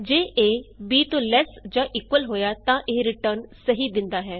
ਜੇ A b ਤੋਂ less ਜਾਂ ਇਕੁਅਲ ਹੋਇਆ ਤਾਂ ਇਹ ਰਿਟਰਨ ਸਹੀ ਦਿੰਦਾ ਹੈ